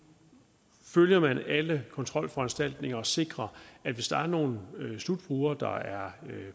følger alle kontrolforanstaltninger og sikrer at hvis der er nogle slutbrugere der er